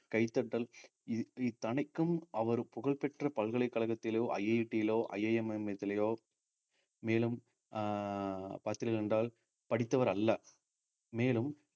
கைதட்டல் இ~ இத்தனைக்கும் அவர் புகழ் பெற்ற பல்கலைக்கழகத்திலோ IIT யிலோ IIM மேலும் அஹ் பார்த்தீர்கள் என்றால் படித்தவர் அல்ல மேலும்